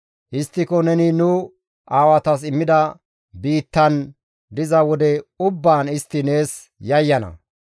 Histtiko neni nu aawatas immida biittaan diza wode ubbaan istti nees yayyana.